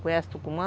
Conhece Tucumã?